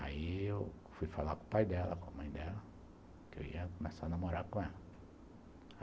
Aí eu fui falar com o pai dela, com a mãe dela, que eu ia começar a namorar com ela.